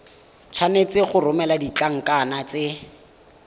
tshwanetse go romela ditlankana tse